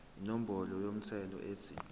inombolo yomthelo ethi